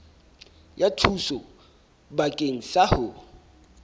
ya thuso bakeng sa ho